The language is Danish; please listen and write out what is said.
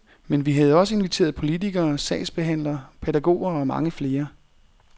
Men vi havde også inviteret politikere, sagsbehandlere, pædagoger og mange flere.